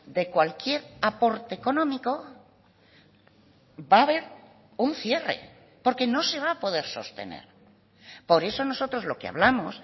de cualquier aporte económico va a haber un cierre porque no se va a poder sostener por eso nosotros lo que hablamos